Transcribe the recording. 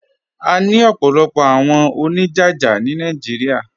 À ní ọ̀pọ̀lọ̀pọ̀ àwọn oníjájá ni Naijíríà.